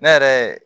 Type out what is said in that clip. Ne yɛrɛ